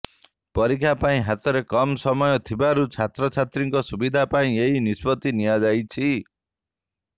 ପରୀକ୍ଷା ପାଇଁ ହାତରେ କମ୍ ସମୟ ଥିବାରୁ ଛାତ୍ରଛାତ୍ରୀଙ୍କ ସୁବିଧା ପାଇଁ ଏହି ନିଷ୍ପତ୍ତି ନିଆଯାଇଛି